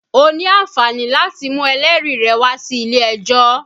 O ní àǹfààní láti mú ẹlẹ́rìí rẹ wá sí ilé ẹjọ́